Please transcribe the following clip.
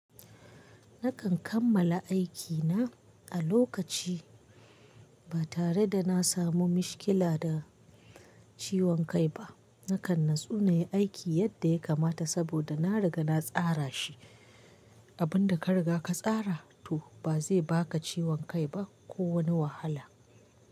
Nakan kammala aikina a lokaci ba tare da na samu mishkila da ciwon kai ba. Nakan natsu nai aiki yadda ya kamata saboda na riga na tsara shi. Abin da ka riga ka tsara to ba zai baka ciwon kai ba ko wani wahala.